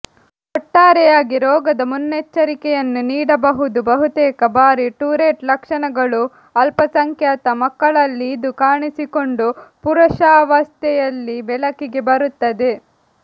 ಒಟ್ಟಾರೆಯಾಗಿ ರೋಗದ ಮುನ್ನೆಚ್ಚರಿಕೆಯನ್ನು ನೀಡಬಹುದು ಬಹುತೇಕ ಬಾರಿ ಟುರೆಟ್ ಲಕ್ಷಣಗಳು ಅಲ್ಪಸಂಖ್ಯಾತ ಮಕ್ಕಳಲ್ಲಿ ಇದು ಕಾಣಿಸಿಕೊಂಡು ಪುರುಷಾವಸ್ಥೆಯಲ್ಲಿ ಬೆಳಕಿಗೆ ಬರುತ್ತದೆ